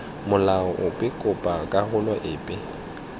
molao ope kopa karolo epe